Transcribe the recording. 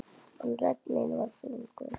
En rödd mín var þögnuð.